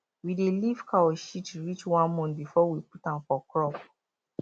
we dey leave cow shit reach 1month before we put am for crop